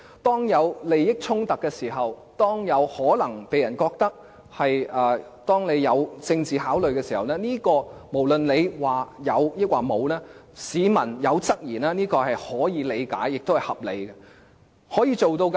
當出現利益衝突、有可能被人認為基於政治考慮時，無論它說有或沒有，市民提出質疑是可以理解和合理的。